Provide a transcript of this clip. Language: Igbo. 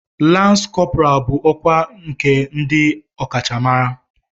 Lans kọpọral bụ ọkwá nke ndị ọkachamara.